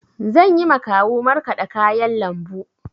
Zanyi ma kawu markaɗa kayan lambu.